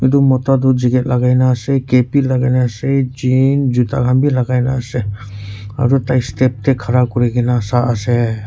itu mota du jacket lagai na ase cap bhi lagai na ase jean juta khan bhi lagai na ase aru tai step tey khara kuri na sai ase.